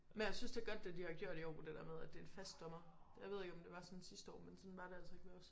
Men jeg synes det er godt det de har gjort i år det der med at det er en fast dommer. Jeg ved ikke om det var sådan sidste år men sådan var det altså ikke ved os